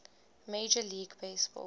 major league baseball